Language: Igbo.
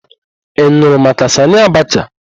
Ị nụrụ maka Sanị Abacha?